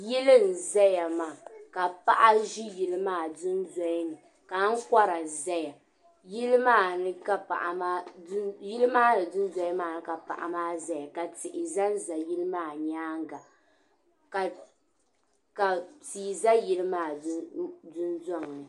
Yili n-zaya maa ka paɣa ʒi yili maa dundoli ni ka ankora zaya yili maa ni dundoli maa ni ka paɣa ʒeya ka tihi za n-zaya yili maa nyaaŋa ka tia za yili maa dundɔŋ ni.